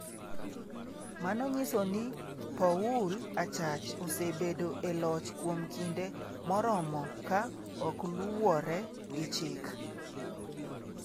Mano nyiso ni Poul Achach osebedo e loch kuom kinde moromo ka okluwore gi chik.